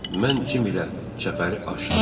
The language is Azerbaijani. Mən Cim ilə çəpəri açdım.